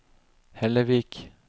Hellevik